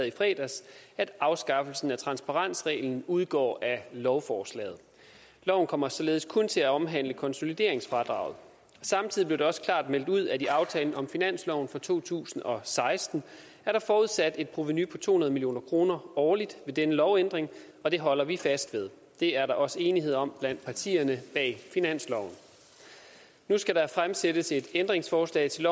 i fredags at en afskaffelse af transparensreglen udgår af lovforslaget loven kommer således kun til at omhandle konsolideringsfradraget samtidig blev det også klart meldt ud at i aftalen om finansloven for to tusind og seksten er der forudsat et provenu på to hundrede million kroner årligt ved denne lovændring og det holder vi fast ved det er der også enighed om blandt partierne bag finansloven nu skal der stilles et ændringsforslag til